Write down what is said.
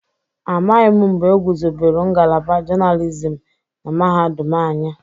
Amaghị mgbe egwuzobelu ngalaba journalism na mahadum anyị.